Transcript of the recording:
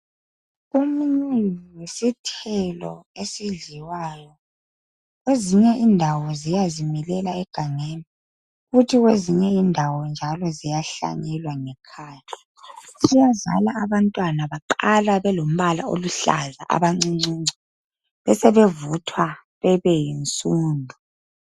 Umunyi yisithelo esidliwayo. Kwezinye indawo ziyazimilela egangeni. Kwezinye indawo ziyahlanyelwa ngekhaya. Siyazala abantwana abaqala beluhlaza, abancuncu. Basebevuthwa babe yinsundu.